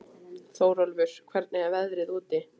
Þórólfur, hvernig er veðrið úti?